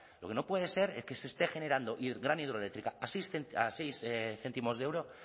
lo que no puede ser es que se esté generando gran hidroeléctrica a seis céntimos de euro